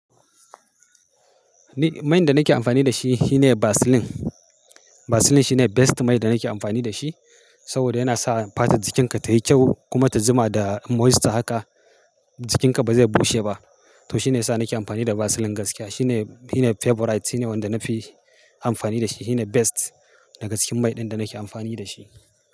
Ni main da nake amfani da shi, shi ne Vaseline. Vaseline shi ne best mai da nake amfani da shi, saboda yana sa fatan jikinka tayi kyau kuma ta juma da moisture haka, jikinka ba zai bushe ba. Toh shi ne yasa nake amfani da Vaseline gaskiya. Shi ne, shi ne favorite, shi ne wanda na fi amfani da shi. Shi ne best da ga cikin mai din da nake amfani da shi.